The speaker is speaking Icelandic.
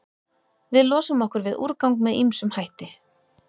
Við losum okkur við úrgang með ýmsum hætti.